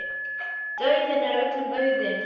Dauðinn er öllum auðinn.